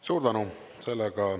Suur tänu!